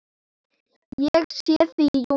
Ég sé þig í júní.